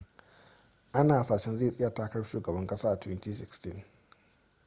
ana hasashen zai tsaya takarar shugaban kasa a 2016